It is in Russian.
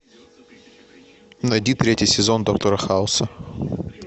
найди третий сезон доктора хауса